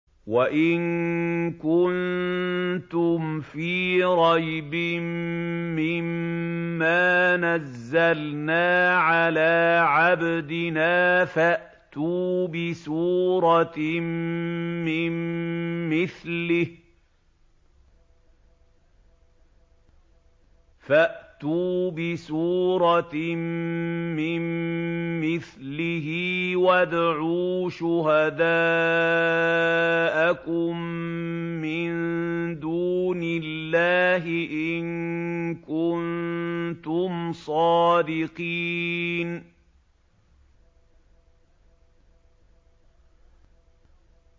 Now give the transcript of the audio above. وَإِن كُنتُمْ فِي رَيْبٍ مِّمَّا نَزَّلْنَا عَلَىٰ عَبْدِنَا فَأْتُوا بِسُورَةٍ مِّن مِّثْلِهِ وَادْعُوا شُهَدَاءَكُم مِّن دُونِ اللَّهِ إِن كُنتُمْ صَادِقِينَ